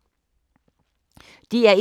DR1